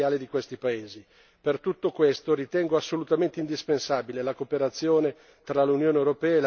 Per tutto questo ritengo assolutamente indispensabile la cooperazione tra l'Unione europea e la Lega degli Stati arabi.